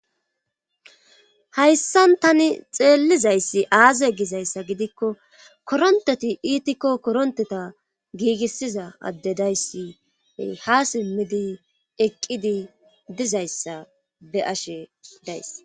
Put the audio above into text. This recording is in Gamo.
Hayssan tani xeellizayssi aaze gizayssa gidikko koronteti iitikko koronteta giigissiza adde dayssi ha simmidi eqqidi dizayssa be ashe days.